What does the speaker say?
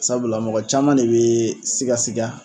Sabula, mɔgɔ caman de bɛ siga siga.